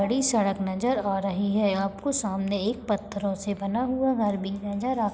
बड़ी सड़क नज़र आ रही है आपको सामने एक पत्थरों से बना हुआ घर भी नज़र आ --